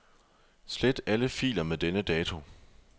Slet alle filer med denne dato.